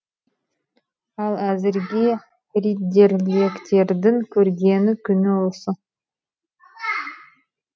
ал әзірге риддерліктердің көргені күні осы